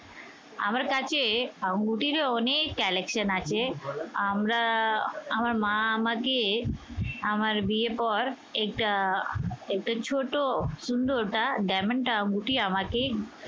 আমার কাছে আঙ্গুঠিরও অনেক collection আছে। আমরা আমার মা আমাকে আমার বিয়ের পর এটা একটা ছোট সুন্দরতা diamond আঙ্গুঠি আমাকে